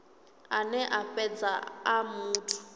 ane a fhedza a muthu